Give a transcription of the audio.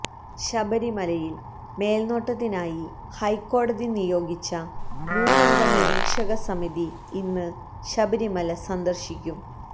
ശബരിമലയില് മേൽനോട്ടത്തിനായി ഹൈക്കോടതി നിയോഗിച്ച മൂന്നംഗ നിരീക്ഷക സമിതി ഇന്ന് ശബരിമല സന്ദർശിക്കും